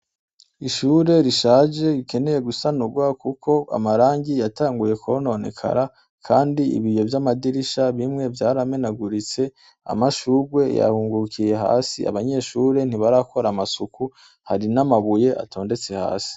Ishure rishaje rikeneye gusanurwa kuko amarangi yatanguye kononekara kandi ibiyo vy'amadirisha bimwe vyaramenaguritse, amashurwe yahungurukiye hasi abanyeshure ntibarakora amasuku, hari n'amabuye atondetse hasi.